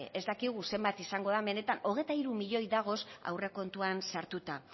ez dakigu zenbat izango den benetan hogeita hiru milioi dagoz aurrekontuan sartuta